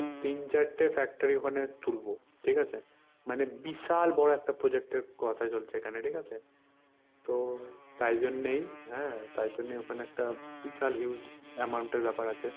তিন চারটে factory ওখানে তুলবো। ঠিকাছে? মানে বিশাল বড় একটা project এর কথা চলছে এখানে। ঠিকাছে? তো তাই জন্যেই হ্যাঁ তাই জন্যেই ওখানে একটা বিশাল huge amount এর ব্যপার আছে।